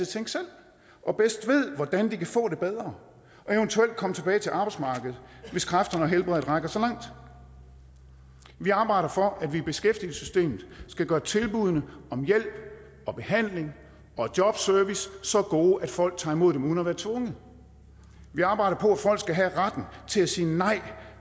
tænke selv og bedst ved hvordan de kan få det bedre og eventuelt komme tilbage til arbejdsmarkedet hvis kræfterne og helbredet rækker så langt vi arbejder for at vi i beskæftigelsessystemet skal gøre tilbuddene om hjælp og behandling og jobservice så gode at folk tager imod dem uden at være tvunget vi arbejder på at folk skal have retten til at sige nej